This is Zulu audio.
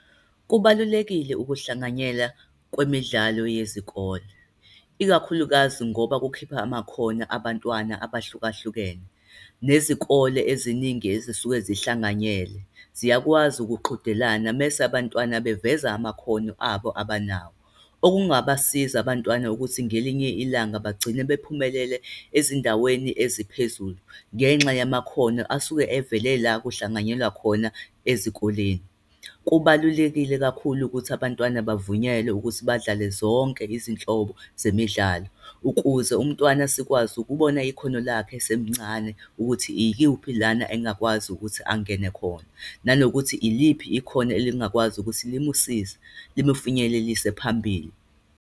Kubalulekile ukuhlanganyela kwemidlalo yezikole, ikakhulukazi ngoba kukhipha amakhono abantwana abahlukahlukene, nezikole eziningi ezisuke ezihlanganyele ziyakwazi ukuthi qhudelana. Mese abantwana beveza amakhono abo abanawo, okungabasiza abantwana ukuthi ngelinye ilanga bagcine bephumelele ezindaweni eziphezulu, ngenxa yamakhono asuke evele la kuhlanganyelwa khona ezikoleni. Kubalulekile kakhulu ukuthi abantwana bavunyelwe ukuthi badlale zonke izinhlobo zemidlalo. Ukuze umntwana sikwazi ukubona ikhono lakhe esemncane ukuthi ikuphi lana engakwazi ukuthi angene khona, nanokuthi iliphi ikhono elingakwazi ukuthi limusize, limufinyelelise phambili.